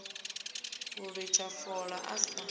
u litsha fola a si